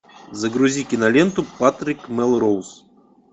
загрузи киноленту патрик мелроуз